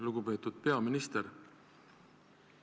Lugupeetud peaminister!